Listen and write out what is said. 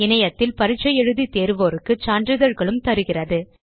இணையத்தில் பரிட்சை எழுதி தேர்வோருக்கு சான்றிதழ்களும் தருகிறது